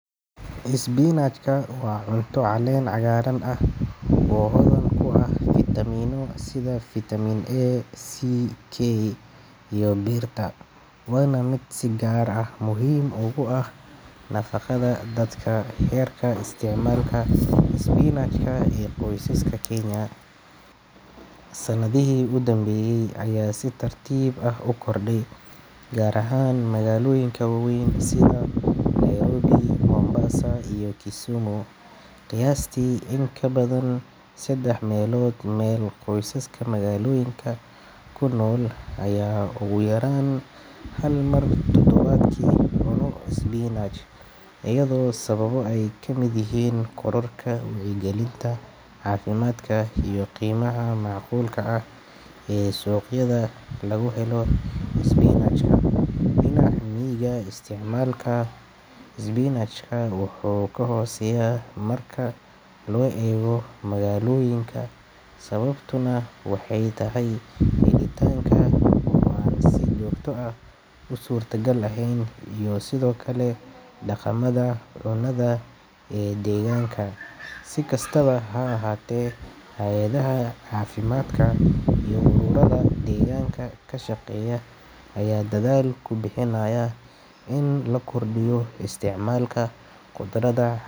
Isbinajka wa cunta calen cagaaran ah oo hodan kuaha vitamin sidha vitamin A C K iyomirta wana mid si gaar ah muxiim oguah nafagada dadka herka isticmalka isbinajka ee qoysaska kenya, sanadihi ogudambeye aya si tartib ah u korday gaar ahan magaloyinka wawen sidha Nairobi, mombassa iyo kisumu, qiyasti in kabadan sadex melod me qoysaskan kunol aya oguyaran hal mel isbinaj, iyado sawabo ay kamod yixiin korarka wacyi galinta cafimadka iyo gumaha macqulka ah iyo suqyada laguhelo isbinajka, isticmalka isbinajka wuxu kahoseya marka loego magaloyinka sawabtuna waxay katahay wa si jogta ah usurta gal ehen iyo Sidhokale daqamada ee deganka, sikastawa haahate hayadadaha cafimadka iyo quburada deganka kashageya aya daadl kubihinayaan in lakordiyo isticmalka qudarada.